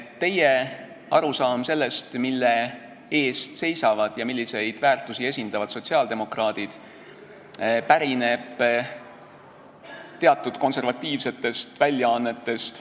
Teie arusaam sellest, mille eest seisavad ja milliseid väärtusi esindavad sotsiaaldemokraadid, pärineb teatud konservatiivsetest väljaannetest.